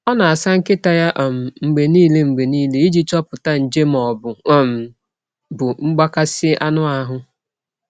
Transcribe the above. Ọ na-asa nkịta ya um mgbe niile mgbe niile iji chọpụta nje ma ọ um bụ mgbakasị anụ ahụ.